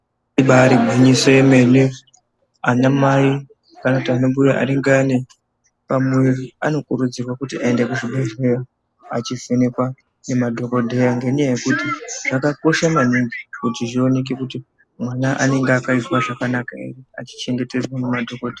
Ibaari gwinyiso yemene anamai kana kuti anambuya anenge ane pamuviri anokurudzirwa kuti aende kuzvibhedhleya achivhenekwa nemadhogodheya. Ngenyaya yekuti zvakakosha maningi kuti zvioneke kuti mwana anenge akaizwa zvakanaka here, achichengetedzwa nemadhokoteya.